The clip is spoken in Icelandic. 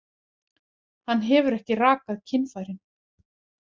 Hann hefur ekki rakað kynfærin.